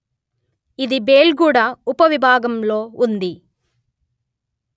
ఇది బెల్గుడా ఉపవిభాగంలో ఉంది